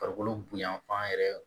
Farikolo bonyanfan yɛrɛ